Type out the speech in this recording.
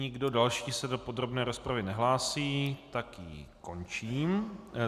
Nikdo další se do podrobné rozpravy nehlásí, tak ji končím.